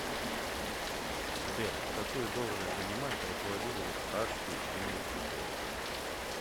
сбер какую должность занимает руководитель пражский университет